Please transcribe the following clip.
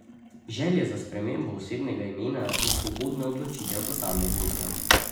Želja za spremembo osebnega imena je svobodna odločitev posameznika.